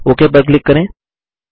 okay पर click करें